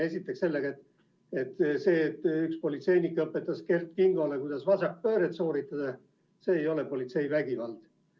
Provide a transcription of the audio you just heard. Esiteks sellega, et see, et üks politseinik õpetas Kert Kingole, kuidas vasakpööret sooritada, ei ole politseivägivald.